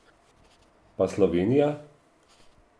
Pa Slovenija?